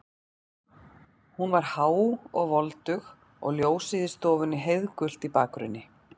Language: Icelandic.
Hún var há og voldug og ljósið í stofunni heiðgult í bakgrunni.